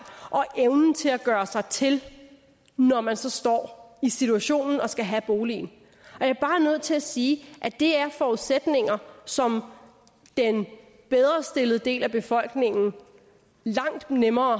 og evnen til at gøre sig til når man så står i situationen og skal have boligen og til at sige at det er forudsætninger som den bedrestillede del af befolkningen har langt nemmere